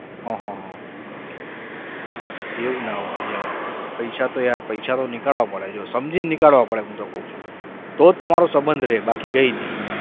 હા હા હા એવું ના હોય પૈસા તો યાર પૈસા તો નીકાળવા પડે જો સમજીને નીકાળવા પડે હું તો કઉ છું તો જ તમારો સબંધ રહે બાકી કઈ નહીં.